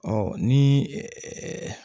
Ɔ ni